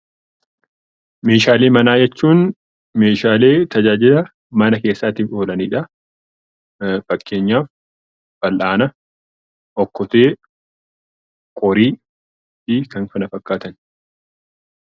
Meeshaalee manaa jechuun meeshaalee tajaajila mana keessaatiif oolanidha. Fakkeenyaaf fal'aana, okkotee, qorii fi kan kana fakkaatan